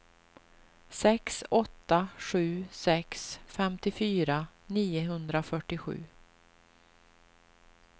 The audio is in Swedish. sex åtta sju sex femtiofyra niohundrafyrtiosju